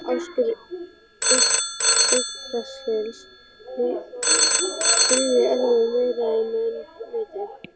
Askur Yggdrasils drýgir erfiði meira en menn viti